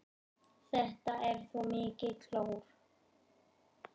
Þetta er svo mikið klór.